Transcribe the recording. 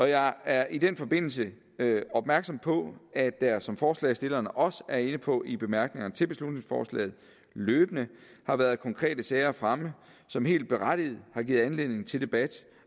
jeg er i den forbindelse opmærksom på at der som forslagsstillerne også er inde på i bemærkningerne til beslutningsforslaget løbende har været konkrete sager fremme som helt berettiget har givet anledning til debat